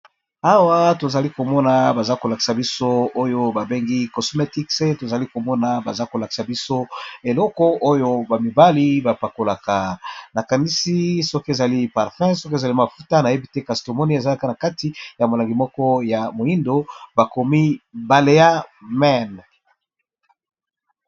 Awa tozali komona baza kolakisa biso oyo babengi cosmetic. Baza kolakisa biso eleko oyo bamibali bapakolaka, nakanisi soki ezali parfum soki pe mafuta nayebi te. eza na kati ya molangi moko ya moindo bakomi baleya mene.